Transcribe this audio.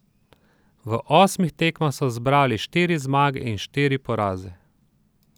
V osmih tekmah so zbrali štiri zmage in štiri poraze.